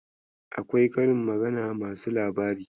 Akwai karin magana masu labari.